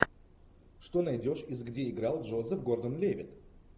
что найдешь из где играл джозеф гордон левитт